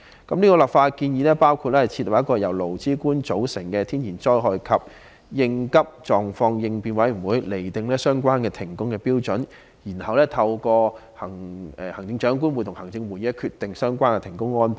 這項立法建議包括設立由勞、資、官組成的天然災害及緊急狀況應變委員會，釐定停工的準則，然後由行政長官會同行政會議決定相關的停工安排。